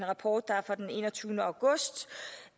rapport der er fra den enogtyvende august